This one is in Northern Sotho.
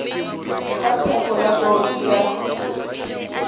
ka thekgo ya bouto ya